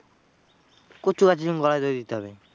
কচু গাছে গলায় দড়ি দিতে হবে।